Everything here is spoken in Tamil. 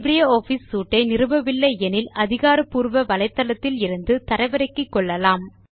லிப்ரியாஃபிஸ் சூட் ஐ நிறுவவில்லை எனில் அதிகாரபூர்வமான வலைத்தளத்தில் இருந்து தரவிறக்கிக்கொள்ளலாம்